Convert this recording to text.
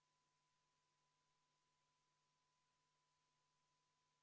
Aga parlamendi jaoks on oluline – vähemalt osa parlamendiliikmete jaoks – selle küsimuse menetlemine sellel töönädalal.